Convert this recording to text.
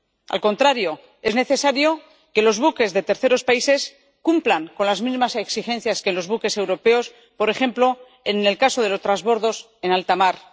al contrario, es necesario que los buques de terceros países cumplan con las mismas exigencias que los buques europeos, por ejemplo, en el caso de los trasbordos en altamar.